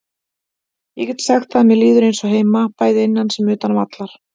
Ég get sagt það að mér líður eins og heima, bæði innan sem utan vallar.